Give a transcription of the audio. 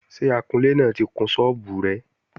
Ṣé akunlé ti kun sọ́ọ́bù rẹ?